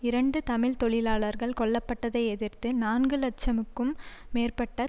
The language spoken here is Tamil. இரண்டு தமிழ் தொழிலாளர்கள் கொல்ல பட்டதை எதிர்த்து நான்கு இலட்சம்க்கும் மேற்பட்ட